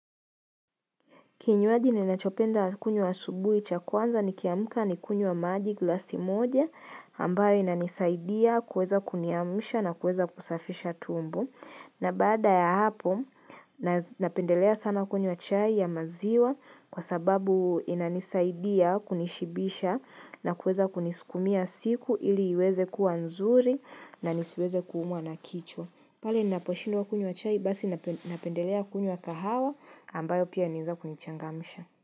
Kinyuaji ninachopenda kunywa asubuhi cha kwanza ni kiamka ni kunywa wa maji glasi moja ambayo inanisaidia kuweza kuniamusha na kuweza kusafisha tumbo. Na baada ya hapo, napendelea sana kunywa chai ya maziwa kwa sababu inanisaidia kunishibisha na kuweza kunisukumia siku ili iweze kuwa nzuri na nisiweze kuumwa na kichwa. Pale ninaposhindo wa kunywa chai basi napendelea kunywa kahawa ambayo pia inaweza kunichangamsha.